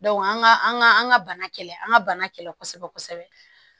an ka an ka an ka bana kɛlɛ an ka bana kɛlɛ kosɛbɛ kosɛbɛ